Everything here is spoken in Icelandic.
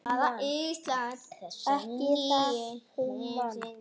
Ekki það hún man.